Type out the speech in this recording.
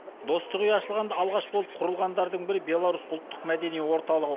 достық үйі ашылғанда алғаш болып құрылғандардың бірі беларусь ұлттық мәдени орталығы